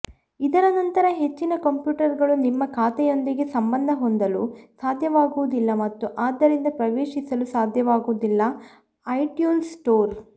ಇದರ ನಂತರ ಹೆಚ್ಚಿನ ಕಂಪ್ಯೂಟರ್ಗಳು ನಿಮ್ಮ ಖಾತೆಯೊಂದಿಗೆ ಸಂಬಂಧ ಹೊಂದಲು ಸಾಧ್ಯವಾಗುವುದಿಲ್ಲ ಮತ್ತು ಆದ್ದರಿಂದ ಪ್ರವೇಶಿಸಲು ಸಾಧ್ಯವಾಗುವುದಿಲ್ಲ ಐಟ್ಯೂನ್ಸ್ ಸ್ಟೋರ್